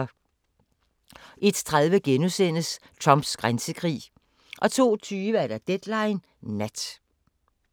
01:30: Trumps grænsekrig * 02:20: Deadline Nat